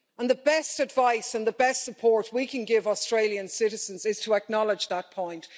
The best advice and the best support we can give Australian citizens is to acknowledge that point.